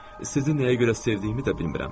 Sizi nəyə görə sevdiyimi də bilmirəm.